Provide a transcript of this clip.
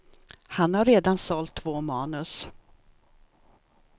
Han har redan sålt två manus.